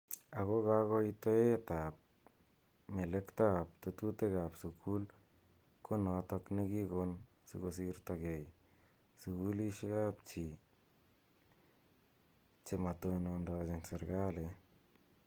Ako kakoitoiet ab melekto ak tetutik ab sukul ko notok ne kikon siko sirta kei sukulishi ap chii chematonondochin serikalit.